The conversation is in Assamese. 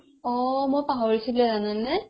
অ, মই পাহৰিছিলোয়ে জানানে ?